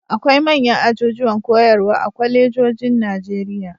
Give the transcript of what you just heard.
Akwai manyan ajujuwan koyarwa a kwalejojin Najeriya.